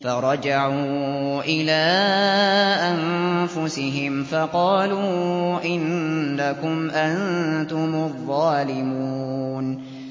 فَرَجَعُوا إِلَىٰ أَنفُسِهِمْ فَقَالُوا إِنَّكُمْ أَنتُمُ الظَّالِمُونَ